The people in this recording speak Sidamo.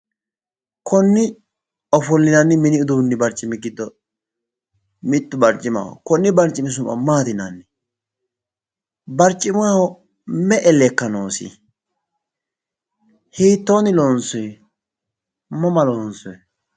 Konni ofollinanni mini uduunni barccimi giddo mittu barccimaho. Konne barcimi su'ma maati yinanni? Barccimaho me'e lekka noosi? hiitoonni loonssoyi? mama loonssoyi?